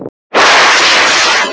Og drekka nóg vatn.